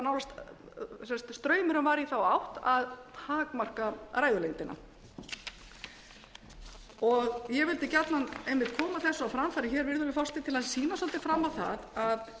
undantekingartilvikum straumurinn var í þá átt að takmarka ræðulengdina ég vildi gjarnan koma þessu á framfæri hér virðulegi forseti til að sýna svolítið fram á það að við höfum að